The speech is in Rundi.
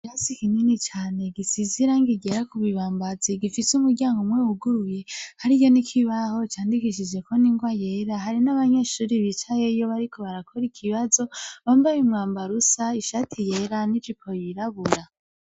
Ikirasi kinini cane gisize irangi ryera, ku bibambazi gifise umuryango umwe wuguruye, hariyo n'ikibaho candikishijeko n'ingwa yera, hariyo n'abanyeshuri bicaye yo bariko barakora ikibazo bambaye umwambaro usa, ishati yera n'ijipo yirabura.